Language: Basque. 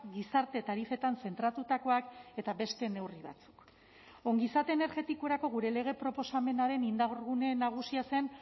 gizarte tarifetan zentratutakoak eta beste neurri batzuk ongizate energetikorako gure lege proposamenaren indargune nagusia zen